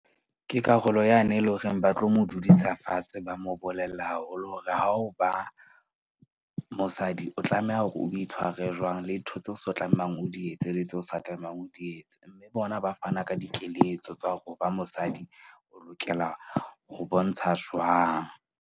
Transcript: Ke karolo yane e leng hore ba tlo mo dudisa fatshe, ba mo bolella haholo. Hore ha o ba mosadi o tlameha hore o itshware jwang le ntho tseo sa tlamehang o di etse le tseo sa tlamehang o di etse. Bona ba fana ka dikeletso tsa hore ho ba mosadi o lokela ho bontsha jwang.